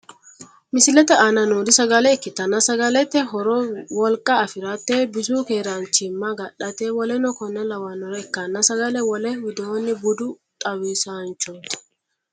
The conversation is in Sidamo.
Misilete aana noori sagale ikkitana sagalete horo woliqa afirate, bisu keeranichima agadhate woleno konne lawwanore ikkanna sagale wole wiidoni budu xawisanichoti.